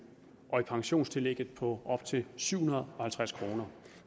og i pensionstillægget på op til syv hundrede og halvtreds kroner det